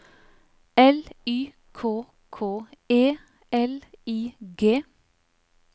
L Y K K E L I G